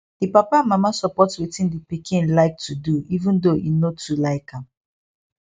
di papa and mama support wetin di pikin like to do even though e no too like am